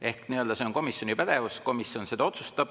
Ehk see on komisjoni pädevus, komisjon seda otsustab.